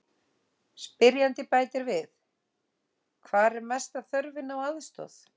Spyrjandi bætir við: Hvar er mesta þörfin á aðstoð?